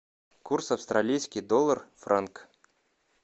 курс австралийский доллар франк